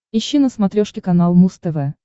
ищи на смотрешке канал муз тв